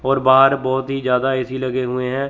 और बाहर बहोत ही ज्यादा ए_सी लगे हुए है।